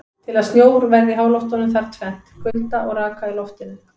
Til að snjór verði til í háloftunum þarf tvennt: Kulda og raka í loftinu.